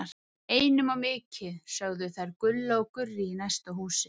Einum of mikið, sögðu þær Gulla og Gurrý í næsta húsi.